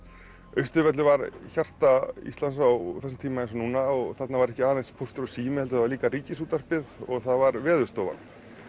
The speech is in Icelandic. Austurvöllur var hjarta Íslands á þessum tíma eins og núna og þarna var ekki aðeins Póstur og sími heldur það var líka Ríkisútvarpið og það var Veðurstofan